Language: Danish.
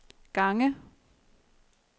gange